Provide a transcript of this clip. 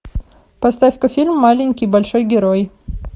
поставь ка фильм маленький большой герой